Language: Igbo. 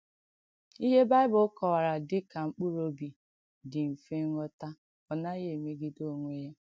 Ìhé Bị̀bụ̀l̀ kọ̀wàrà dị̀ kà “mkpụrụ̀ òbì” dị̀ mfè ǹghọ̀tà, ọ̀ nàghìkwà èmegìdè ònwè ya.